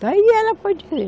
Está aí, ela pode ver.